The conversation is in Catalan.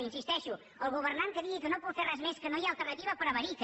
hi insisteixo el governant que digui que no pot fer res més que no hi ha alternativa prevarica